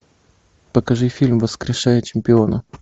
покажи фильм воскрешая чемпиона